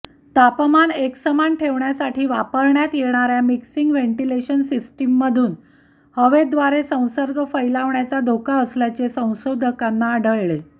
तापमान एकसमान ठेवण्यासाठी वापरण्यात येणाऱ्या मिक्सिंग व्हेंटिलेशन सिस्टीममधून हवेद्वारे संसर्ग फैलावण्याचा धोका असल्याचे संशोधकांना आढळले